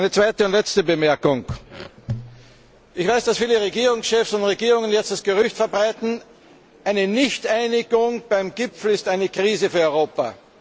Meine zweite und letzte Bemerkung Ich weiß, dass viele Regierungschefs und Regierungen jetzt das Gerücht verbreiten, eine Nichteinigung beim Gipfel ist eine Krise für Europa.